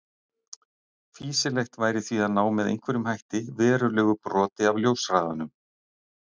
Fýsilegast væri því að ná með einhverjum hætti verulegu broti af ljóshraðanum.